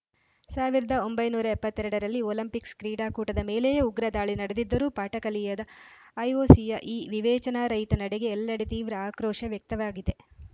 ಸಾವಿರದ ಒಂಬೈನೂರ ಎಪ್ಪತ್ತ್ ಎರಡ ರಲ್ಲಿ ಒಲಿಂಪಿಕ್ಸ್‌ ಕ್ರೀಡಾಕೂಟದ ಮೇಲೆಯೇ ಉಗ್ರ ದಾಳಿ ನಡೆದಿದ್ದರೂ ಪಾಠ ಕಲಿಯದ ಐಒಸಿಯ ಈ ವಿವೇಚನಾರಹಿತ ನಡೆಗೆ ಎಲ್ಲೆಡೆ ತೀವ್ರ ಆಕ್ರೋಶ ವ್ಯಕ್ತವಾಗಿದೆ